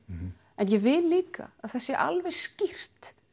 en ég vil líka að það sé alveg skýrt